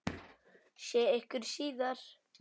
Sé ykkur síðar.